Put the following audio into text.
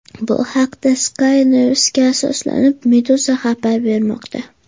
Bu haqda, Sky News’ga asoslanib, Meduza xabar bermoqda .